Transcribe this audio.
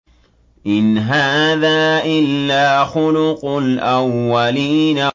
إِنْ هَٰذَا إِلَّا خُلُقُ الْأَوَّلِينَ